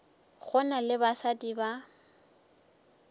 go na le basadi ba